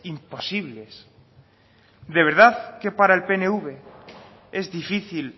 imposibles de verdad que para el pnv es difícil